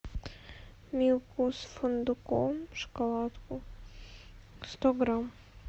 милку с фундуком шоколадку сто грамм